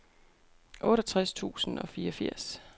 otteogtres tusind og fireogfirs